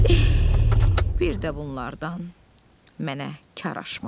Eh, bir də bunlardan mənə kar aşmaz.